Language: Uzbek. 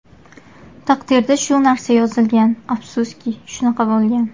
Taqdirda shu narsa yozilgan, afsuski, shunaqa bo‘lgan.